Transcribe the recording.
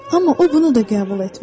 Amma o bunu da qəbul etmədi.